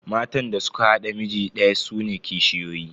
Matan da suka haɗa miji daya sune kishiyoyi.